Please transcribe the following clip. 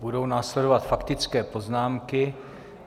Budou následovat faktické poznámky.